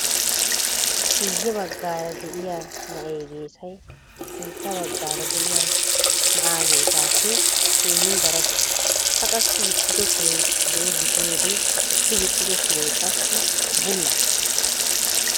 Guyye baggaara de'iyaa na'ee geesay sintta baggaara de'iyaa na'aa geesaappe keehin darawusu. A qassi gixxido suree zo"o gidiyoode I gixxido suree qassi bulla.